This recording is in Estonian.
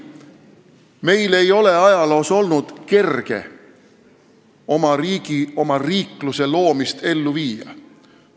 Meil ei ole ajaloos olnud kerge oma riigi, oma riikluse loomist ellu viia.